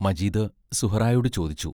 മജീദ് സുഹറായോടു ചോദിച്ചു.